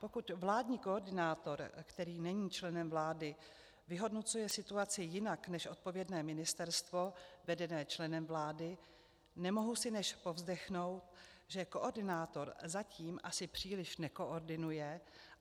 Pokud vládní koordinátor, který není členem vlády, vyhodnocuje situaci jinak než odpovědné Ministerstvo vedené členem vlády, nemohu si než povzdechnout, že koordinátor zatím asi příliš nekoordinuje.